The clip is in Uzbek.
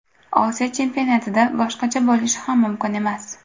Osiyo chempionatida boshqacha bo‘lishi ham mumkinmas.